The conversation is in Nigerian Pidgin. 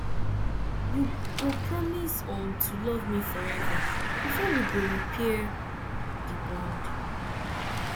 you go promise um to love me forever before we go repair di bond